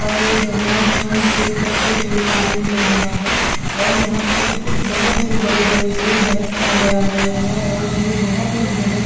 और ये जर्ना स्टोन से कटते हुए पानी निकल रहा है और यहाँ पे कुछ बोहोत से बड़े बड़े से दरख्त नज़र आ रहे है और जो बोहोत ही घने --